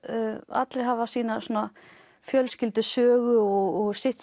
allir hafa sína fjölskyldusögu og sitt